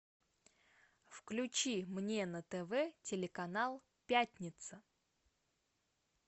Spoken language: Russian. включи мне на тв телеканал пятница